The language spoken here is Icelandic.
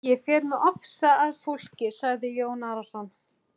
Ég fer með ofsa að fólki, sagði Jón Arason.